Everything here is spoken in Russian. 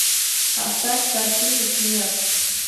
поставь картину смерш